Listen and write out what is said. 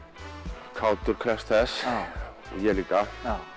kátur krefst þess og ég líka